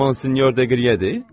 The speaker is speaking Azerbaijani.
Monsinyor Deqriyedir?